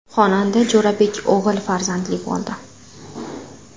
Xonanda Jo‘rabek o‘g‘il farzandli bo‘ldi.